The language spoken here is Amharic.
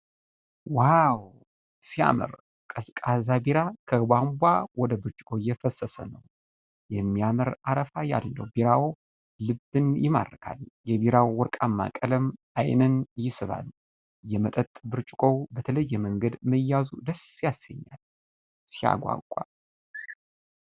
ዋው ሲያምር! ቀዝቃዛ ቢራ ከቧንቧ ወደ ብርጭቆ እየፈሰሰ ነው። የሚያምር አረፋ ያለው ቢራው ልብን ይማርካል። የቢራው ወርቃማ ቀለም ዓይንን ይስባል። የመጠጥ ብርጭቆው በተለየ መንገድ መያዙ ደስ ያሰኛል። ሲያጓጓ!